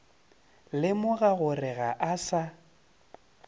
lemoga gore ga a sa